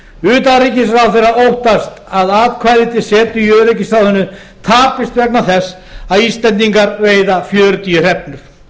utanríkisráðherra óttast að atkvæði til setu í öryggisráðinu tapist vegna þess að íslendingar veiða fjörutíu hrefnur